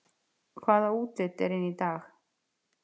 Hvaða útlit er inn í dag